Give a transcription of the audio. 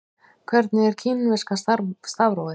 Hvernig er kínverska stafrófið?